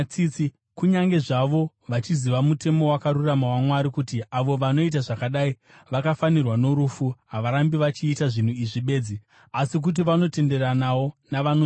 Kunyange zvavo vachiziva mutemo wakarurama waMwari kuti avo vanoita zvakadai vakafanirwa norufu, havarambi vachiita zvinhu izvi bedzi, asi kuti vanotenderanawo navanozviita.